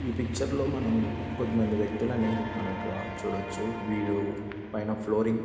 ఈ పిక్చర్ లో మనం కొద్ది మంది వ్యక్తులని మనం ఇక్కడ చూడొచ్చు వీరు పైన ఫ్లోరింగ్ --